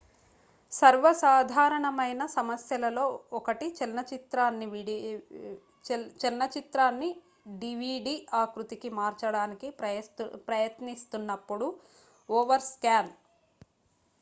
సర్వసాధారణమైన సమస్యలలో 1 చలన చిత్రాన్ని డివిడి ఆకృతికి మార్చడానికి ప్రయత్నిస్తున్నప్పుడు ఓవర్స్కాన్